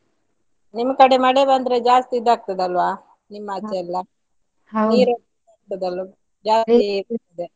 ನಿಮ್ಕಡೆ ಮಳೆ ಬಂದ್ರೆ ಜಾಸ್ತಿ ಇದಗ್ತದೆ ಅಲ್ವಾ ,.